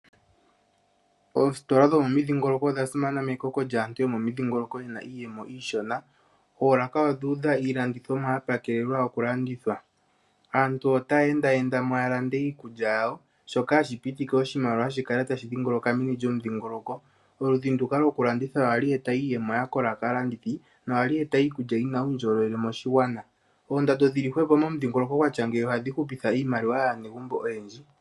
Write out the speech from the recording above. Oostola dhomomidhingoloko odhasimana mekoko jaatu yomomidhingoloko yena iiyemo iishona, oolaka odhuudha iilandithomwa yapakelelwa okulandithwa. Aantu otayeendayendamwaala ndee iikuja yawo, shoka hashi pitike oshimaliwa shikale tashi dhingoloka meni jomudhingoloko. Oludhi nduka lwokulanditha ohali eta iiyemo yakola kaalandithi, nohali eta iikuja yina uundjolowele moshigwana. Oondando dhili hwepo momudhingoloko watya ngeyi ohadhihupitha iimaliwa yaanegumbo oyendji.